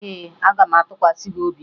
Ee, aga m atụkwasị gị obi m